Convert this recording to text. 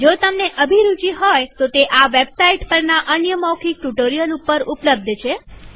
જો તમને અભિરુચિ હોય તોતે વેબસાઈટ httpspoken tutorialorg પરના અન્ય મૌખિક ટ્યુ્ટોરીઅલ ઉપર ઉપલબ્ધ છે